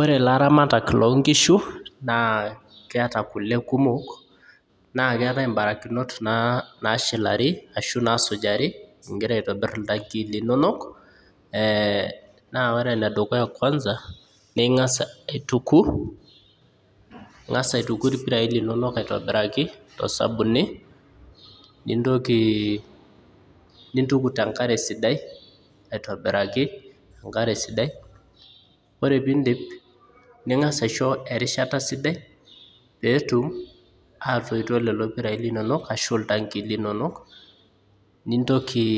Ore ilaramatak loonkishu naa keeta kule kumok naa ketae imbarakinot na nasujari ashu nashilari ingira aitobir iltankii linonok ee naa ore enedukuya kwanza naa ingas aituku , ingas aituku irpirai linonok aitobiraki tosabuni nintoki nintuku tenkare sidai aitobiraki tenkare sidai , ore piindip ningas aisho erishata sidai petum atoito lelo pirai linonok ashu iltankii linonok , nintoki,